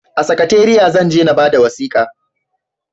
A sakatariya zan je na bada wasikan